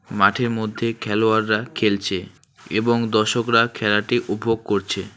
মাঠের মধ্যে খেলোয়াড়রা খেলছে এবং দর্শকরা খেলাটি উপভোগ করছে।